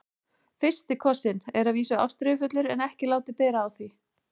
FYRSTI KOSSINN er að vísu ástríðufullur en ekki látið bera á því.